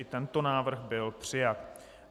I tento návrh byl přijat.